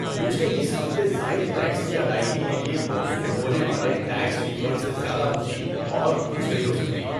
مجھے اس ہفتے زائد ٹیکس کی ادائیگی کے لیے موصول ہونے والے ٹیکس ری فنڈ سے زیادہ خوشی اور کچھ نہیں ہو سکتی۔